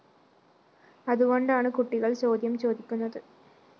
അതുകൊണ്ടാണ് കുട്ടികള്‍ ചോദ്യം ചോദിക്കുന്നത്